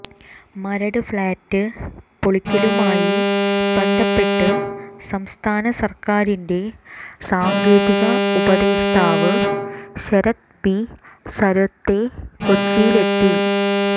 Maradu flat പൊളിക്കലുമായി ബന്ധപ്പെട്ട് സംസ്ഥാന സര്ക്കാരിന്റെ സാങ്കേതിക ഉപദേഷ്ടാവ് ശരത് ബി സര്വത്തെ കൊച്ചിയിലെത്തി